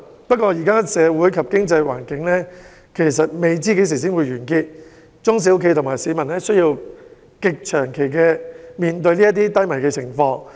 不過，現時社會及經濟環境不知何時才會好轉，中小企及市民需要極長期面對如此低迷的經濟情況。